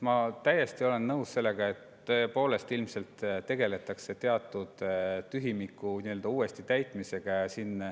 Ma olen täiesti nõus, et tõepoolest tegeletakse ilmselt teatud tühimiku uuesti täitmisega.